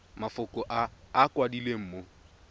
mafoko a a kwadilweng mo